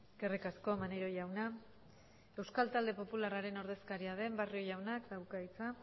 eskerrik asko maneiro jauna euskal talde popularraren ordezkaria den barrio jaunak dauka hitza